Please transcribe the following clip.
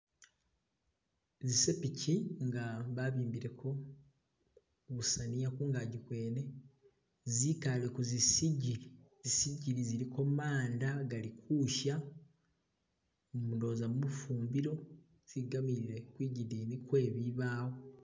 Zizepichi nga babimbileko kusaniya kungaki kwene zikale kuzisigili zisigili ziliko manda gali kusha ndowoza mufumbilo zigamile kwigidini kwebibawo.